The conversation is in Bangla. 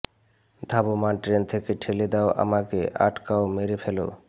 ধাবমান ট্রেন থেকে ঠেলে দাও আমাকে আটকাও মেরে ফ্যালো